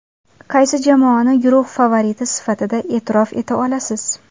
Qaysi jamoani guruh favoriti sifatida e’tirof eta olasiz?